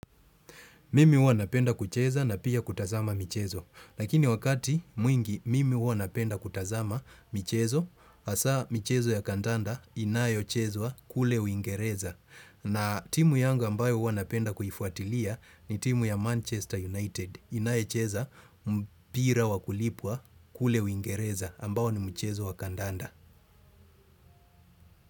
Mimi huwa napenda kucheza na pia kutazama michezo. Lakini wakati mwingi mimi huwa napenda kutazama michezo, hasa michezo ya kandanda inayo chezwaa kule uingereza. Na timu yangu ambayo huwa napenda huwa kuifuatilia ni timu ya Manchester United. Inayo cheza mpira wakulipwa kule uingereza ambao ni mchezo wa kandanda.